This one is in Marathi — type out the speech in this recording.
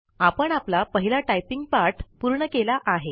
आपण आपला पहिला टाइपिंग पाठ पूर्ण केला आहे